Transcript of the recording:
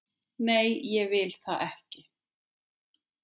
Nei, ég vil það ekki.